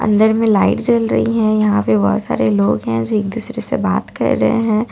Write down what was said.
अंदर में लाइट जल रही है यहां पे बहुत सारे लोग हैं जो एक दूसरे से बात कर रहे हैं।